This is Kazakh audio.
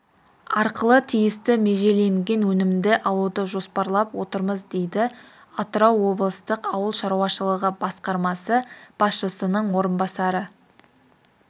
арқылы тиісті межеленген өнімді алуды жоспарлап отырмыз дейді атырау облыстық ауыл шаруашылығы басқармасы басшысының орынбасары